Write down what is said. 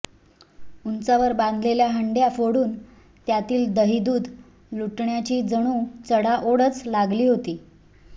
उंचावर बांधलेल्या हंडय़ा फोडून त्यातील दहीदुध लुटण्याची जणू चढाओढच लागली होती